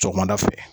Sɔgɔmada fɛ